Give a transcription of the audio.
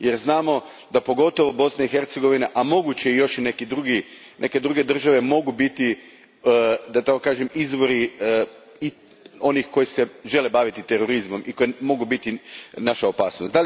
Jer znamo da, pogotovo Bosna i Hercegovina, a moguće još i neke druge države mogu biti, da tako kažem, izvori onih koji se žele baviti terorizmom i koji mogu biti naša opasnost.